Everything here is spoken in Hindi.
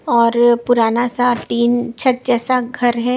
और पुराना सा टीन छत जैसा घर है।